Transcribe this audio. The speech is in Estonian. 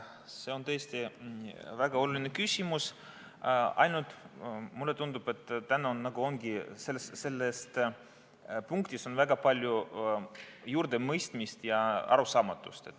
See on tõesti väga oluline küsimus, ainult mulle tundub, et täna on selles punktis väga palju mõistmatust ja arusaamatust.